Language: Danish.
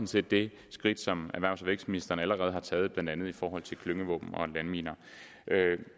set det skridt som erhvervs og vækstministeren allerede har taget blandt andet i forhold til klyngevåben og landminer